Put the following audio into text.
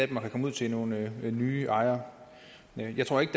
kan komme ud til nogle nye ejere jeg tror ikke